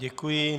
Děkuji.